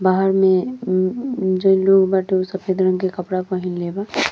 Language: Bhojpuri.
बाहर में म्म म्म जोन लोग बाटे ऊ सफेद रंग के कपड़ा पहिनले बा।